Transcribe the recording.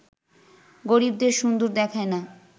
গরিবদের সুন্দর দেখায় না